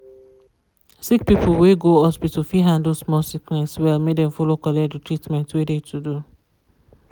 sick people wey go hospital fi handle small sickness well make dem follow collect the treatment wey de to do.